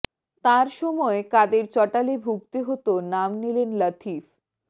তাঁর সময় কাদের চটালে ভুগতে হত নাম নিলেন লাতিফ